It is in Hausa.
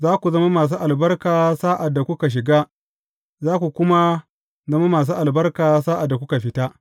Za ku zama masu albarka sa’ad da kuka shiga, za ku kuma zama masu albarka sa’ad da kuka fita.